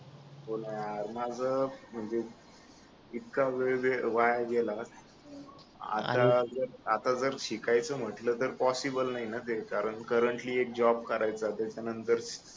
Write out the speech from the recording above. हो ना यार माझं म्हणजे इतका वेळ वाया गेला आता जर आता जर शिकायचं म्हटलं तर पॉसिबल नाही आहे ना ते कारण करंटली एक जॉब करायचा त्याच्यानंतर